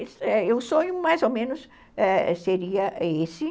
E o sonho mais ou menos seria esse